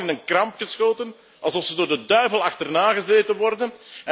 Die zijn allemaal in een kramp geschoten alsof ze door de duivel achterna gezeten worden.